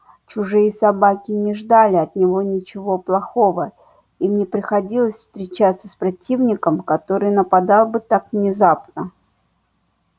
чужие собаки не ждали от него ничего плохого им не приходилось встречаться с противником который нападал бы так внезапно